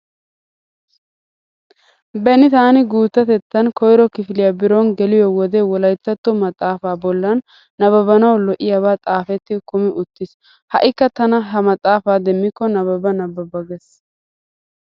Beni taani guuttatettan koyro kifiliya biron geliyo wode wolayttatto maxaafaa bollan nabbabanawu lo'iyabay xaafetti kumi uttiis. Ha"ikka tana he maxaafaa demmikko nabbaba nabbaba gees.